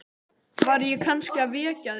Var ég kannski að vekja þig?